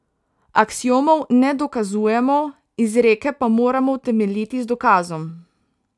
Aksiomov ne dokazujemo, izreke pa moramo utemeljiti z dokazom.